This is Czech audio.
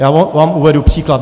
Já vám uvedu příklad.